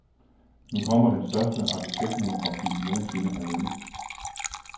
Nu kommer den største arkitektmonografi nogen sinde herhjemme.